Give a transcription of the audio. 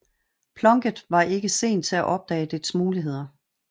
Plunkett var ikke sen til at opdage dets muligheder